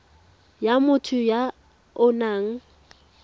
ya motho ya o nang